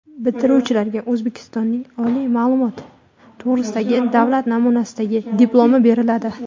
Bitiruvchilarga O‘zbekistonning oliy ma’lumot to‘g‘risidagi davlat namunasidagi diplomi beriladi.